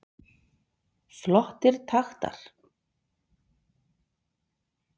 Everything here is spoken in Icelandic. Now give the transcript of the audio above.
Flottir taktar